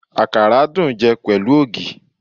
Àkàrà dùn jẹ pẹ̀lú ògì